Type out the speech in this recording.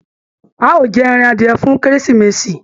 A o jẹ ẹran adiẹ fún kérésìmesì.